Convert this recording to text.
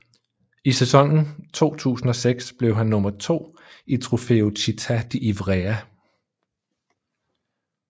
I sæsonen 2006 blev han nummer to i Trofeo Città di Ivrea